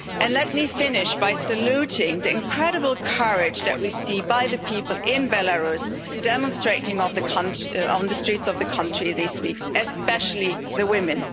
Let me finish by saluting the incredible courage that we see by the people in Belarus, who have demonstrated on the streets of the country in these weeks, especially the women.